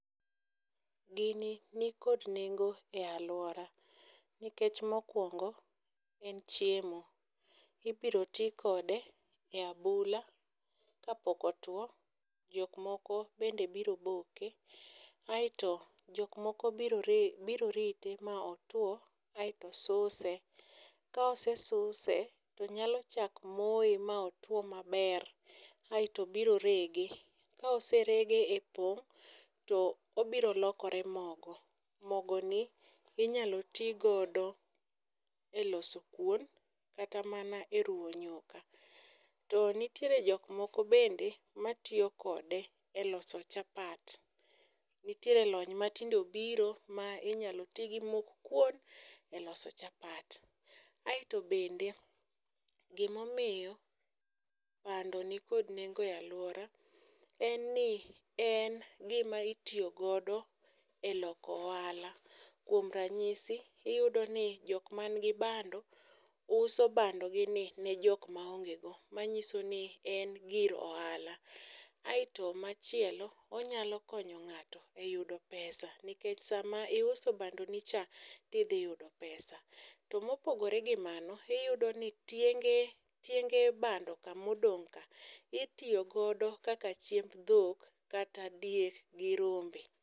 gini nikod nengo e alwora nikech mokwongo en chiemo, ibiro ti kode e abula kapok otuwo, jokmoko bende biro boke, aeto jok moko biro rite ma otuwo aeto suse. Ka osesuse, tonyalo chak moye ma otuwo maber aeto biro rege, ka oserege e pong'to obiro lokore mogo. Mogoni inyalo ti godo e loso kuon kata mana e ruwo nyuka. To nitiere jokmoko bende matiyo kode e loso chapat, nitiere lony matinde obiro ma iyalo ti gi mok kuon e loso chapat. Aeto bende gimomiyo bando nikod nengo e alwora en ni en gima itiyo godo e loko ohala, kuom ranyisi, iyudoni jok manigi bando uso bando nigi ne jok maonge go, manyiso ni en gir ohala. Aeto machielo onyalo konyo ng'ato e yudo pesa nikech sama iuso bandonicha, tidhi yudo pesa. To mopogore gi mano, iyudo ni tieng'e bandoka modongo' ka itiyo godo kaka chiemb dhok kata diek gi rombe.